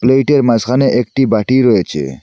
প্লেইটের মাঝখানে একটি বাটি রয়েছে।